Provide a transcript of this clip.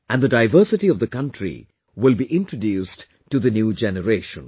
And the diversity of the country will be introduced to the new generation